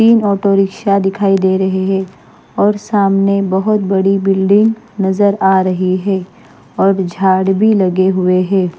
तीन auto rickshaw दिखाई दे रहे हैं और सामने बहुत बड़ी बिल्डिंग नजर आ रही है और झाड़ भी लगे हुए हैं।